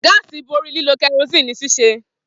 Gáásì bori lilo kerosene ni sise.